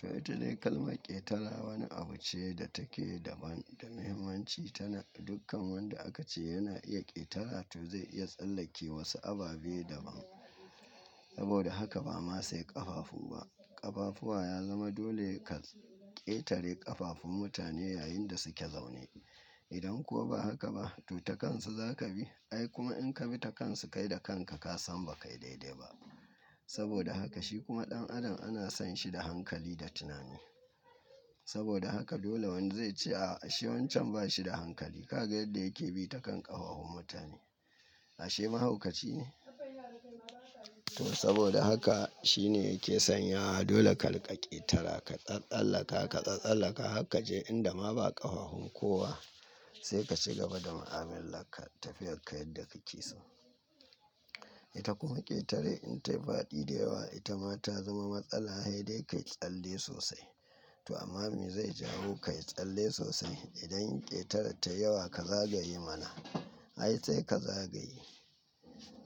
Tattalin kalma ƙetara wani abu ce da take daban da mahimmanci tana. Dukkan wanda aka ce yana iya ƙetara to zai iya tsallake wasu ababe daban. Saboda haka ba ma sai ƙafafu ba. Ƙafafuwa ya zama dole ka ƙetare ƙafafun mutane yayin da suke zaune. Idan kuwa ba haka ba, to ta kansu za ka bi. Ai kuma in ka bi ta kansu kai da kanka ka san ba kai daidai ba. Saboda haka shi kuma ɗan adam ana san shi da hankali da tunani. Saboda haka dole wani zai ce, "A'a, shi wancan ba shi da hankali. Ka ga yadda yake bi ta kan ƙafafun mutane. Ashe mahaukaci ne?" To saboda haka shine yake sanya. Dole ka riƙa ƙetara, ka tsallaka, ka tsallaka har ka je inda ma ba ƙafafun kowa. Sai ka ci gaba da mu'amalar ka tafiyar ka yadda ka ke so. Ita kuma ƙetare in ta yi faɗi da yawa, ita ma ta zama matsala. Sai dai ka yi tsalle sosai. To amma me zai jawo ka yi tsalle sosai? Idan ƙetarar tayi yawa ka zagaye mana. Ai sai ka zagaye.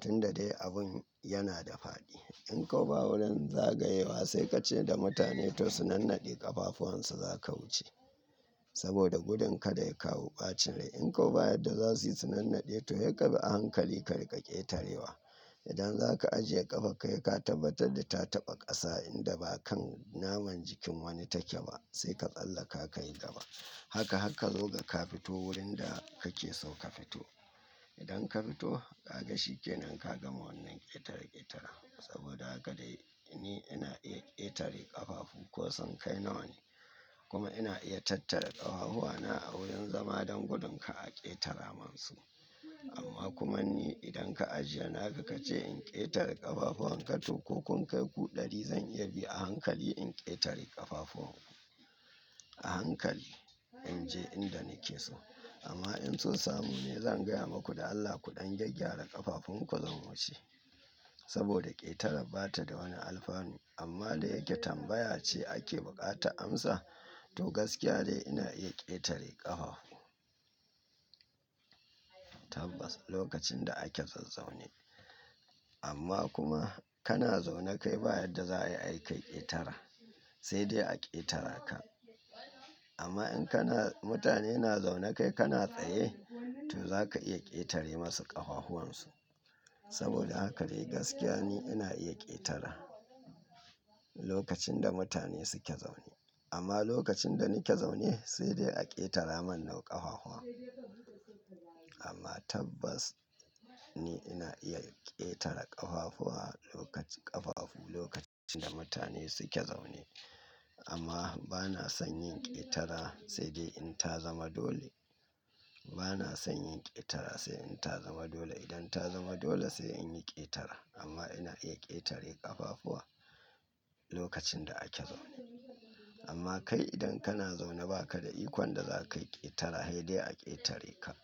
Tun da dai abun yana da faɗi. In kuwa ba wurin zagayewa sai ka ce da mutane to su nannade ƙafafuwansu za ka wuce. Saboda gudun kada ya kawo ɓacin rai. In kuwa ba yadda za su yi su nannade to sai kabi a hankali ka riƙa ƙetarewa. Idan zaka ajiye ƙafarka sai ka tabbatar da ta taɓa ƙasa inda ba kan naman jikin wani take ba sai ka tsallaka ka yi gaba. Haka har zo ga ka fito wurin da kake so ka fito. Idan ka fito, ka ga shi ke nan ka gama wannan ƙetare-ƙetaran. Saboda haka dai ni ina iya ƙetare ƙafafu ko sunkai nawa ne. Kuma ina iya tattara ƙafafuwana a wurin zama don gudun kar a ƙetara min su. Amma kuma ni idan ka ajiye naka ka ce in ƙetare ƙafafuwan ka to ko kun kai ku ɗari zan iya bi a hankali in ƙetare ƙafafuwanku. A hankali in je inda nake so. Amma in son samu ne zan gaya muku da Allah kuɗan gyaggyara ƙafafunku zan wuce. Saboda ƙetara ba ta da wani alfanu amma da yake tambaya ce ake buƙata amsa. To gaskiya dai ina iya ƙetare ƙafafu. Tabbas lokacin da ake zazzaune. Amma kuma kana zaune kai ba yadda za a yi ai kai ƙetara. Sai dai a ƙetara ka. Amma in kana-- mutane na zaune kai kana tsaye to za ka iya ƙetare masu ƙafafuwansu. Saboda haka dai gaskiya ni ina iya ƙetara lokacin da mutane suke zaune. Amma lokacin da nake zaune sai dai a ƙetara min nawa ƙafafuwan. Amma tabbas ni ina iya ƙetara ƙafafuwa lokacin ƙafafu lokacin da mutane suke zaune. Amma ba na son yin ƙetara sai dai in ta zama dole. Ba na son yin ƙetara sai in ta zama dole. Idan ta zama dole sai in yi ƙetara. Amma ina iya ƙetare ƙafafuwa lokacin da ake zaune. Amma kai idan kana zaune ba ka da ikon da za ka yi ƙetara. Hai dai a ƙetare ka.